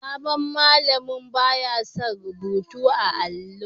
Sabon malamin ba ya son rubutu a'allo.